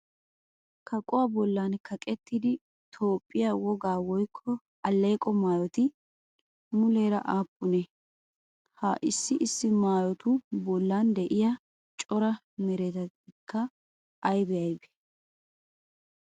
Kaquwaa bollan kaqettida Toophphiyaa wogaa woykko alleeqo maayoti muleera aappunee? Ha issi issi maayotu bollan de'iyaa cora meratikka ayibee aybee?